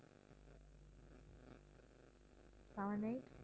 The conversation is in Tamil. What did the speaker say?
seven eight